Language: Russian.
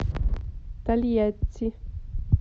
тольятти